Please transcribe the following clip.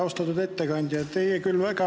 Austatud ettekandja!